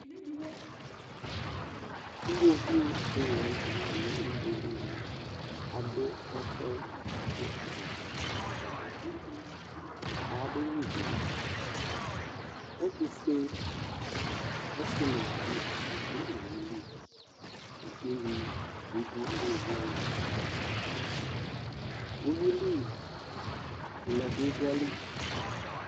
Iɣoviu dɩ la nʋ tɛ kɔ nʋ ugbe yɛ li Adʋ ɛfʋ yɛ bʋa kʋ ɔbɛtsɔ dɩ dʋ Ayabanyuǝ ivi Ɛtʋfue ɔsɩ nʋ uluvi dɩ dʋ owu li kʋ unyi bɩ dʋ iɣoviu wanɩ li Uyui ʋlɛ bɩ dʋ ayili